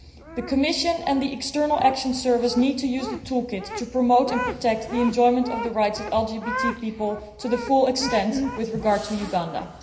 The Commission and the External Action Service need to use the toolkit to promote, and protect the enjoyment of, the rights of LGBT people to the full extent with regard to Uganda.